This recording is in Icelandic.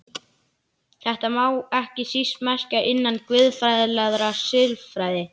Þetta má ekki síst merkja innan guðfræðilegrar siðfræði.